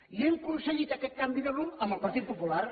i hem aconseguit aquest canvi de rumb amb el partit popular